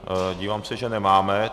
Dívám se, že nemáme.